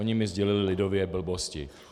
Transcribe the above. Oni mi sdělili lidově - blbosti.